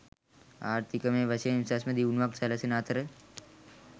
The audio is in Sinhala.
ආර්ථිකමය වශයෙන් උසස්ම දියුණුවක් සැලසෙන අතර